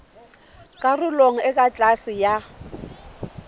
karolong e ka tlase ya